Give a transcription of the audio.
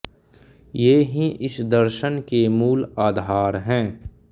ये ही इस दर्शन के मूल आधार हैं